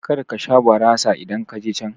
Karka sha barasa idan kaje can